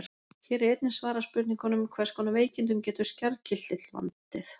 Hér er einnig svarað spurningunum: Hvers konar veikindum getur skjaldkirtill valdið?